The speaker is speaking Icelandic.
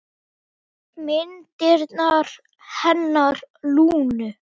Myndirnar hennar Lúnu.